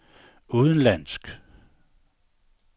udenlandsk